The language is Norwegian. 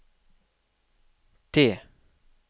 T